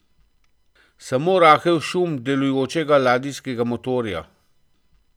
Samo rahel šum delujočega ladijskega motorja.